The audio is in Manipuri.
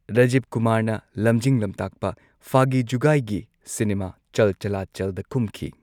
ꯔꯥꯖꯤꯕ ꯀꯨꯃꯥꯔꯅ ꯂꯝꯖꯤꯡ ꯂꯝꯇꯥꯛꯄ ꯐꯥꯒꯤ ꯖꯨꯒꯥꯢꯒꯤ ꯁꯤꯅꯦꯃꯥ ꯆꯜ ꯆꯂꯥ ꯆꯜꯗ ꯀꯨꯝꯈꯤ꯫